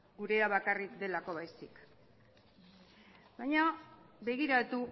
gurea bakarrik delako baizik baina begiratu